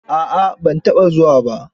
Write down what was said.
A'a ban taɓa zuwa ba.